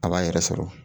A b'a yɛrɛ sɔrɔ